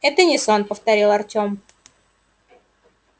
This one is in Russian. это не сон повторил артём